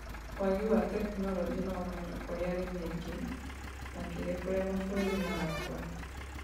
Wagi wa tekinoronjĩ na ũmenyo kũrĩ arĩmi aingĩ, makĩria kũrĩ mabũrũri marakũra